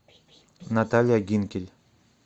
наталья гинкель